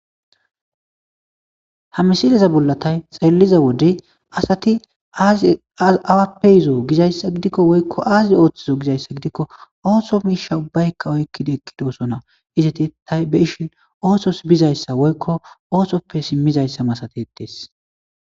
Hamisideza bollatay xaylliza wode asati awappeyizo gizayssa gidikko woykko aazid ooththizo gizayssa gidikko oohso miish shabaykka oykkida ekkidosona izati tay be ishin oosos bizayssa woykko oosoppe simmizayssa masatetee.